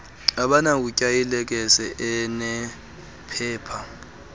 abanakutya ilekese enephepha